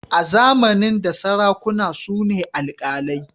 A zamanin da sarakuna su ne alkalai.